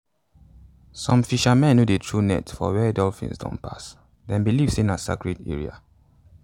some fishermen no dey throw nets for where dolphins don pass them believe say na sacred area.